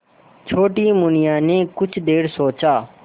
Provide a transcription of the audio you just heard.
छोटी मुनिया ने कुछ देर सोचा